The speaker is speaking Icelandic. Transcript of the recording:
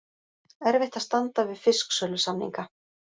Erfitt að standa við fisksölusamninga